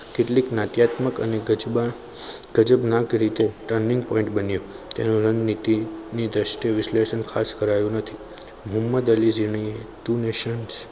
કેટલીક નાટક અને ગજબા તજજ્ઞા કરી કે turning point બન્યો તેનું રણનીતિ દ્રષ્ટિ વિશ્લેષણ ખાસ કરાયું નથી. મહમદ અલી ઝીણાએ